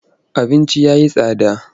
Abinci ya yi tsada.